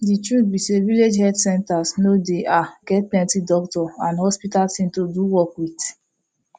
de truth be say village health centers no dey get ah plenti doctor and hospital thing to do work with